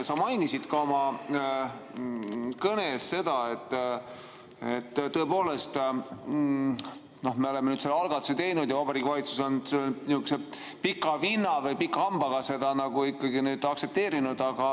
Sa mainisid oma kõnes seda, et tõepoolest me oleme nüüd selle algatuse teinud ja Vabariigi Valitsus on pika vinnaga või pika hambaga seda aktsepteerinud.